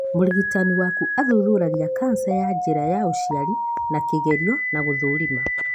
Mũrigitani waku athuthuragia cancer ya njĩra ya ũciari na kĩgerio na gũthũrima.